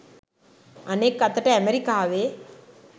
අනෙක් අතට ඇමරිකාවේ